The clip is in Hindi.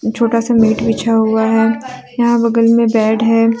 छोटा सा मोट बिछा हुआ है यहां बगल में बेड है।